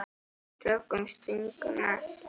Tökum Sting næst.